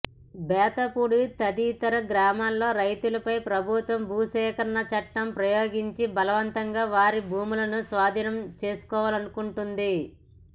బేతపూడి తదితర గ్రామాల రైతులపై ప్రభుత్వం భూసేకరణ చట్టం ప్రయోగించి బలవంతంగా వారి భూములను స్వాధీనం చేసుకోవాలనుకొంటోంది